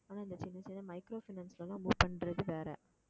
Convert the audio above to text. ஆனா இந்த சின்ன சின்ன micro finance லலாம் move பண்றது வேற